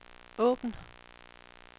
åbn